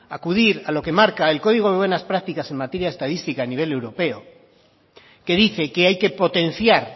acudir a lo que marca el código de buenas prácticas en materia de estadística a nivel europeo que dice que hay que potenciar